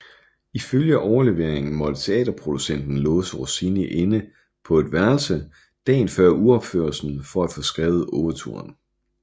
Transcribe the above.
Ifølge overleveringen måtte teaterproducenten låse Rossini inde på et værelse dagen før uropførelsen for at få skrevet ouverturen